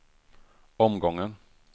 omgången